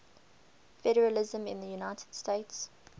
federalism in the united states